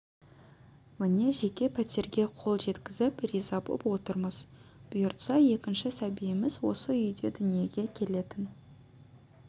міне жеке пәтерге қол жеткізіп риза боп отырмыз бұйыртса екінші сәбиіміз осы үйде дүниеге келетін